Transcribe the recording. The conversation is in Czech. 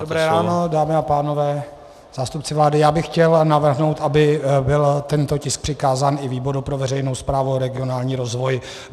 Dobré ráno, dámy a pánové, zástupce vlády, já bych chtěl navrhnout, aby byl tento tisk přikázán i výboru pro veřejnou správu a regionální rozvoj.